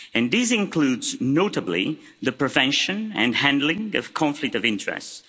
These include, notably, the prevention and handling of conflict of interests.